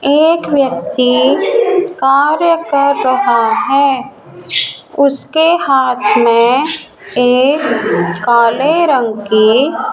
एक व्यक्ति कार्य कर रहा है उसके हाथ मे एक काले रंग की --